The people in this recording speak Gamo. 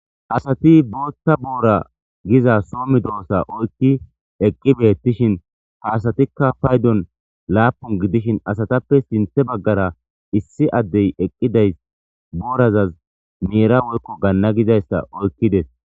asati bootta boora giza soo medoossa oykki eqqi beettishin ha asatikka paydon laapun gidishin asatappe sinthe baggara issi addey eqqidays boorazaz meera woykko ganna gizayssa oykkides